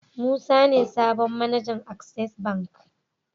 Musa ne sabon mAnajan access bank